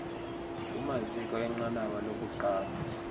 kumaziko enqanaba lokuqala